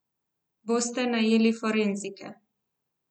Boste najeli forenzike?